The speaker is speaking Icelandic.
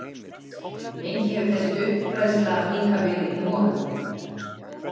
Lengi hefur þessi uppfræðsla líka verið í molum.